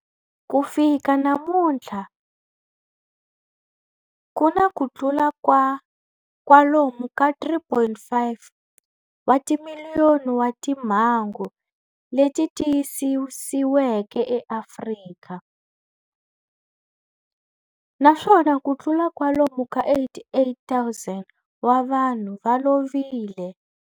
Ku fika namuntlha ku na kutlula kwalomu ka 3.5 wa timiliyoni wa timhangu leti tiyisisiweke eAfrika, naswona kutlula kwalomu ka 88,000 wa vanhu va lovile.